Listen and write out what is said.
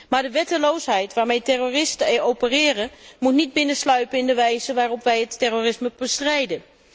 Maar de wetteloosheid waarmee terroristen opereren, moet niet binnensluipen in de wijze waarop wij het terrorisme bestrijden.